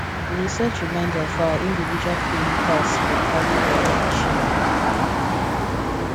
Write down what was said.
we dey set reminders for our individual cleaning tasks for the calendar we dey share